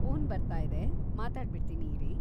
Phone ಬರ್ತಾಯಿದೆ, ಮಾತಾಡ್ಬಿಡ್ತೀನಿ ಇರಿ.